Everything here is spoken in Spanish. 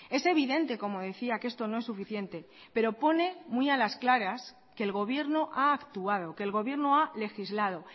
es evidente como decía que esto no es suficiente pero pone muy a las claras que el gobierno ha actuado que el gobierno ha legislado